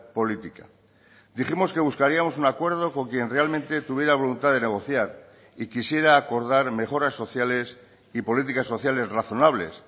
política dijimos que buscaríamos un acuerdo con quien realmente tuviera voluntad de negociar y quisiera acordar mejoras sociales y políticas sociales razonables